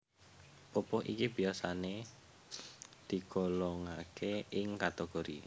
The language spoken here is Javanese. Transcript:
Pupuh iki biyasané digolongaké ing kategori